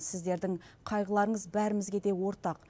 сіздердің қайғыларыңыз бәрімізге де ортақ